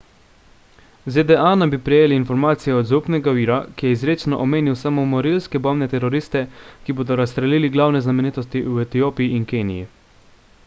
zda naj bi prejele informacije od zaupnega vira ki je izrecno omenil samomorilske bombne teroriste ki bodo razstrelili glavne znamenitosti v etiopiji in keniji